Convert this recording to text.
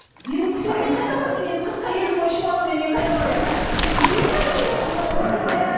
енді күтемін мен қайда барамын мен енді қырыққа келдім ғой үш баламмен мен қайда барамын күтемін әрине